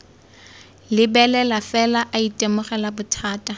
lebelela fela a itemogela bothata